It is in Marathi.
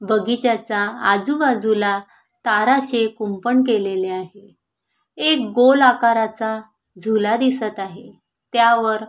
बगीच्याचा आजूबाजूला ताराचे कुंपण केलेले आहे एक गोल आकाराचा झुला दिसत आहे त्यावर--